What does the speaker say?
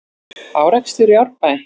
Árekstur í Árbæ